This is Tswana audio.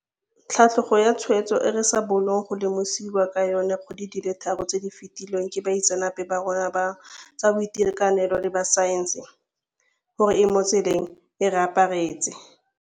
Tlhatlhogo ya ditshwaetso e re sa bolong go lemosiwa ka yona dikgwedi di le tharo tse di fetileng ke baitseanape ba rona ba tsa boitekanelo le ba tsa saense gore e mo tseleng, e re aparetse.